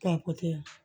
Ka